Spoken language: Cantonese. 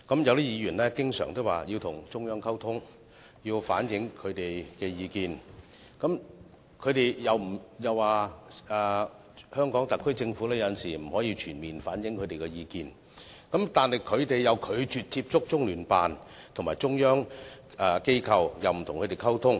有些議員經常說要與中央溝通，反映意見，又說香港特區政府有時候不能夠全面反映他們的意見，但他們又拒絕接觸中聯辦及中央機構，亦不與他們溝通。